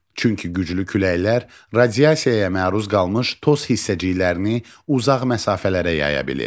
Çünki güclü küləklər radiasiyaya məruz qalmış toz hissəciklərini uzaq məsafələrə yaya bilir.